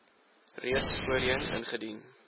reeds voorheen ingedien